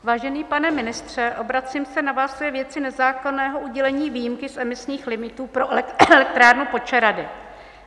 Vážený pane ministře, obracím se na vás ve věci nezákonného udělení výjimky z emisních limitů pro elektrárnu Počerady.